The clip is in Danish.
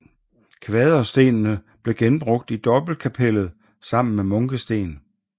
Kvaderstenene blev genbrugt i dobbeltkapellet sammen med munkesten